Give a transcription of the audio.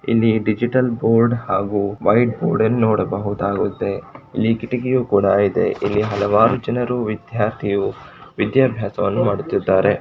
ಇಲ್ಲಿ digital board ಹಾಗೂ white board ಅನ್ನು ನೋಡಬಹುದಾಗುತ್ತೆ. ಇಲ್ಲಿ ಕಿಟಕಿ ಕೂಡ ಇದೆ. ಇಲ್ಲಿ ಹಲವಾರು ಜನರು ವಿದ್ಯಾರ್ಥಿಯು ವಿದ್ಯಾಭ್ಯಾಸವನ್ನು ಮಾಡುತ್ತಿದ್ದಾರೆ.